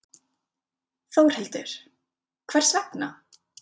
Þórhildur: Hvers vegna?